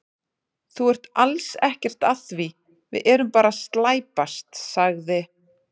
Þú ert alls ekkert að því, við erum bara að slæpast, sagði